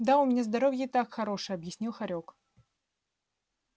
да у меня здоровье и так хорошее объяснил хорёк